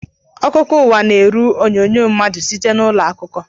Akụkọ ụwa na-eru onyonyo madu site n’ụlọ akuko